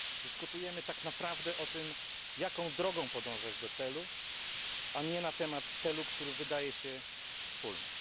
Dyskutujemy tak naprawdę o tym, jaką drogą podążać do celu, a nie na temat celu, który wydaje się wspólny.